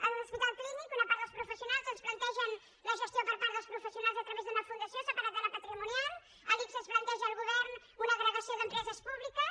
a l’hospital clínic una part dels professionals ens plantegen la gestió per part dels professionals a través d’una fundació separada de la patrimonial a l’ics es planteja al govern una agrega·ció d’empreses públiques